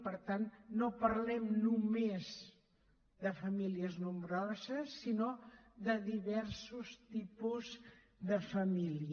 per tant no parlem només de famílies nombroses sinó de diversos tipus de família